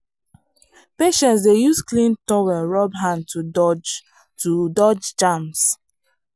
patients dey use clean towel rub hand to dodge to dodge germs.